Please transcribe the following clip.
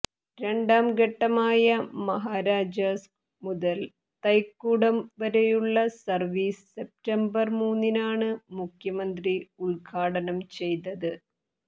രണ്ടാം ഘട്ടമായ മഹാരാജാസ് മുതൽ തൈക്കൂടം വരെയുള്ള സർവീസ് സെപ്റ്റംബർ മൂന്നിനാണ് മുഖ്യമന്ത്രി ഉദ്ഘാടനം ചെയ്തത്